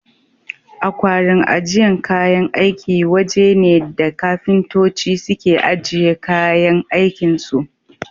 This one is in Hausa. Akwarin ajiyan kayan aiki waje ne da kafintoci suke ajiye kayan aikin su.